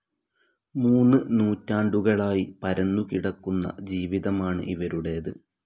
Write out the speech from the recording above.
മൂന്ന് നൂറ്റാണ്ടുകളായി പരന്നു കിടക്കുന്ന ജീവിതമാണ് ഇവരുടേത്.